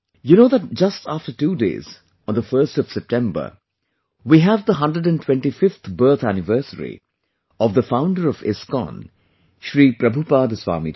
You know that just after two days, on the 1st of September, we have the 125th birth anniversary of the founder of ISKCON Shri Prabhupaad Swami ji